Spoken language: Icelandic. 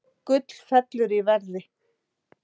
Gull fellur í verði